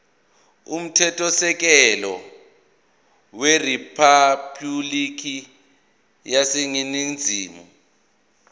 umthethosisekelo weriphabhulikhi yaseningizimu